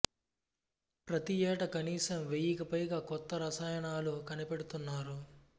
ప్రతి ఏటా కనీసం వెయ్యికి పైగా కొత్త రసాయనాలు కనిపెడుతున్నారు